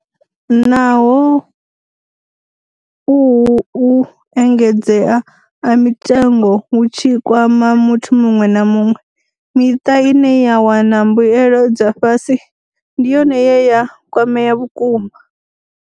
Naho uhu u engedzea ha mitengo hu tshi kwama muthu muṅwe na muṅwe, miṱa ine ya wana mbuelo dza fhasi ndi yone ye ya kwamea vhukuma.